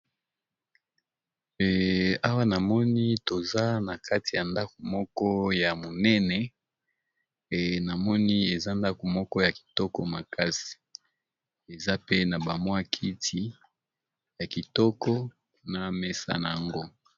awa namoni toza na kati ya ndaku moko ya monene e namoni eza ndaku moko ya kitoko makasi eza pe na bamwa kiti ya kitoko na mesa na yango